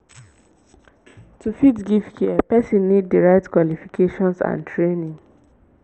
to fit give care persin need di right qualifications and training